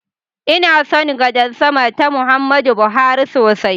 Ina son gadar sama ta Muhammadu Buhari sosai.